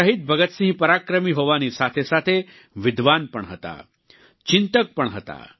શહીદ ભગતસિંહ પરાક્રમી હોવાની સાથે સાથે વિદ્વાન પણ હતા ચિંતક પણ હતા